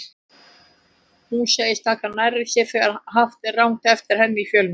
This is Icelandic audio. Hún segist taka nærri sér þegar haft er rangt eftir henni í fjölmiðlum.